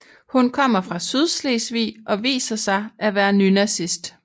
Hun kommer fra Sydslesvig og viser sig at være nynazist